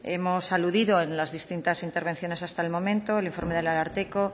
hemos aludido en distintas intervenciones hasta el momento el informe del ararteko